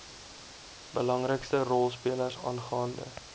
belangrikste rolspelers aangaande